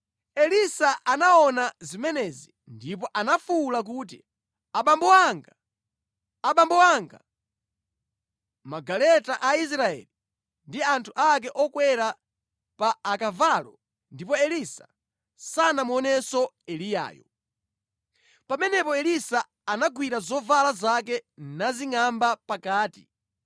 Elisa anaona zimenezi ndipo anafuwula kuti, “Abambo anga! Abambo anga! Magaleta a Israeli ndi anthu ake okwera pa akavalo!” Ndipo Elisa sanamuonenso Eliyayo. Pamenepo Elisa anagwira zovala zake nazingʼamba pakati.